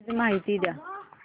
please माहिती द्या